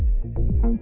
hún